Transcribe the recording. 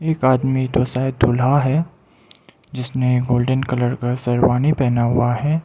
एक आदमी तो शायद दूल्हा है जिसने गोल्डन कलर का शेरवानी पहना हुआ है।